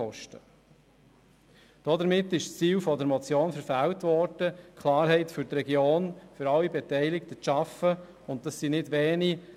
Somit ist das Ziel der Motion verfehlt worden, Klarheit für die Region, für alle Beteiligten zu schaffen, und das sind nicht wenige.